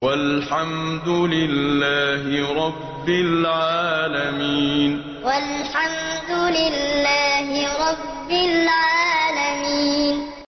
وَالْحَمْدُ لِلَّهِ رَبِّ الْعَالَمِينَ وَالْحَمْدُ لِلَّهِ رَبِّ الْعَالَمِينَ